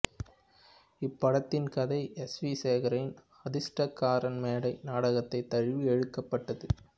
இப் படத்தின் கதை எஸ் வி சேகரின் அதிர்ஷ்டக்காரன் மேடை நாடகத்தை தழுவி எடுக்கப்பட்டது